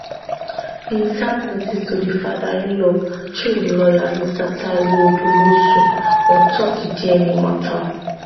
bin serve notice to di fatherinlaw through im laywer mr taiwo odumosu ontop di dna mata